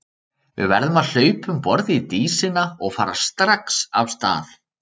Við verðum að hlaupa um borð í Dísina og fara strax af stað.